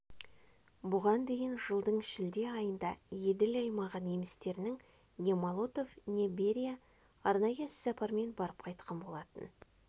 бұған дейін жылдың шілде айында еділ аймағы немістерінің не молотов пен берия арнайы іссапармен барып қайтқан болатын